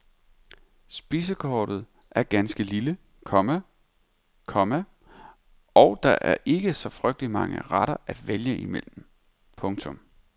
Spisekortet er ganske lille, komma , komma og der er ikke så frygtelig mange retter at vælge imellem. punktum